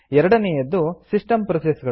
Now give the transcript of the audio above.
ಎರಡನೆಯದು system process